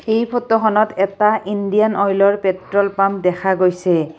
এই ফটোখনত এটা ইণ্ডিয়ান অইলৰ পেট্ৰল পাম্প দেখা গৈছে।